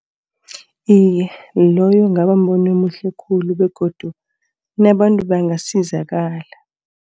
Iye loyo kungaba mbono omuhle khulu begodu nabantu bangasizakala.